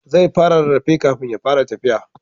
Zai fara rarrafe kafin ya fara tafiya